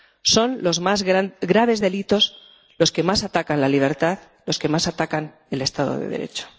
Son los más graves delitos, los que más atacan a la libertad, los que más atacan al Estado de Derecho.